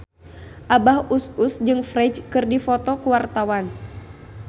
Abah Us Us jeung Ferdge keur dipoto ku wartawan